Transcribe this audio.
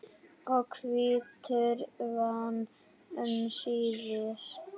og hvítur vann um síðir.